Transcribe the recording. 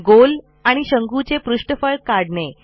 गोल आणि शंकूचे पृष्ठफळ काढणे